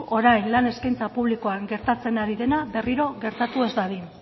orain lan eskaintza publikoa gertatzen ari dena berriro gertatu ez dadin